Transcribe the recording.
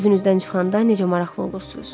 Özünüzdən çıxanda necə maraqlı olursunuz.